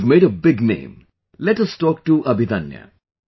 You have made a big name, let us talk to Abhidanya